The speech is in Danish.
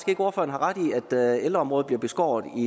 i at ældreområdet bliver beskåret